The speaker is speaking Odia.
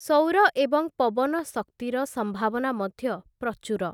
ସୌର ଏବଂ ପବନ ଶକ୍ତିର ସମ୍ଭାବନା ମଧ୍ୟ ପ୍ରଚୁର ।